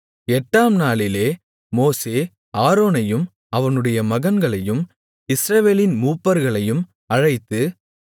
எட்டாம் நாளிலே மோசே ஆரோனையும் அவனுடைய மகன்களையும் இஸ்ரவேலின் மூப்பர்களையும் அழைத்து